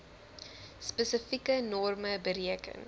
spesifieke norme bereken